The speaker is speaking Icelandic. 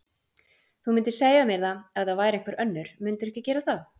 Þú mundir segja mér það ef það væri einhver önnur, mundirðu ekki gera það?